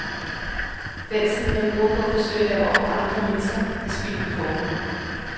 Den tid, man bruger på at forsøge at lave om på andre mennesker, er spildt på forhånd.